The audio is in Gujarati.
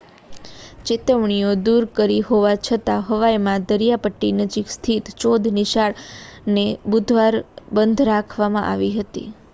ચેતવણીઓ દૂર કરી હોવા છતાં હવાઈમાં દરિયાઇપટ્ટી નજીક સ્થિત ચૌદ નિશાળને બુધવારે બંધ રાખવામાં આવી હતી